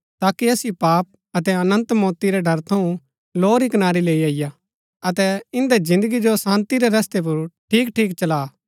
ताकि असिओ पाप अतै अनन्त मौती रै ड़र थऊँ लौ री कनारी लैई अईआ अतै इन्दै जिन्दगी जो शान्ती रै रस्तै पुर ठीक ठीक चला